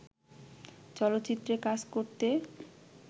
চলচ্চিত্রে কাজ করতে